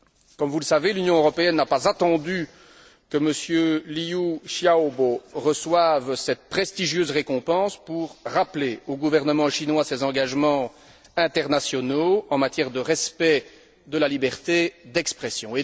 Comme vous le savez, l'Union européenne n'a pas attendu que M. Liu Xiaobo reçoive cette prestigieuse récompense pour rappeler au gouvernement chinois ses engagements internationaux en matière de respect de la liberté d'expression.